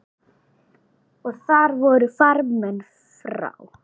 Og þar voru farmenn frá